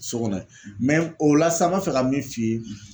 So kɔnɔ o la sa n b'a fɛ ka min f'i ye